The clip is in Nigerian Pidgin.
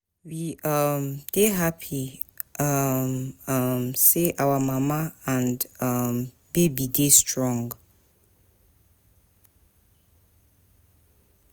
We um dey happy um um sey our mama and our um baby dey strong.